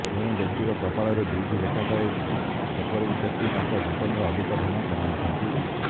ଯେଉଁ ବ୍ୟକ୍ତିର କପାଳରେ ଦୁଇଟି ରେଖା ଥାଏ ସେପରି ବ୍ୟକ୍ତି ତାଙ୍କ ଜୀବନରେ ଅଧିକ ଧନ କମାଇଥାନ୍ତି